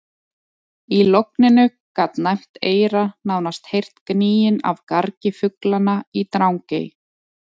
Í logninu gat næmt eyra nánast heyrt gnýinn af gargi fuglanna í Drangey.